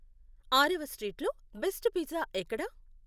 ఆరవ స్ట్రీట్లో best pizza ఎక్కడ?